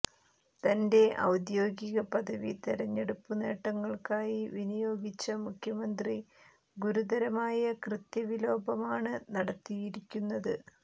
തന്റെ ഔദ്യോഗിക പദവി തെരഞ്ഞെടുപ്പുനേട്ടങ്ങള്ക്കായി വിനിയോഗിച്ച മുഖ്യമന്ത്രി ഗുരുതരമായ കൃത്യവിലോപമാണ് നടത്തിയിരിക്കുന്നത്